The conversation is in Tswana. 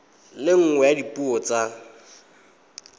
le nngwe ya dipuo tsa